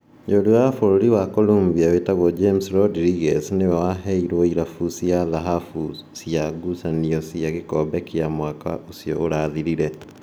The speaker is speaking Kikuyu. Mũrũa wa burũri Colombia wĩtagwo James Rodriguez nĩwe waheirũo irabu cia thahabu cia gucanio cia gĩkombe kĩa ya mwaka ũcio ũrathirire.